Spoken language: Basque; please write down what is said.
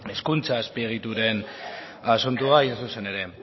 hezkuntza azpiegituren asuntoa hain zuzen ere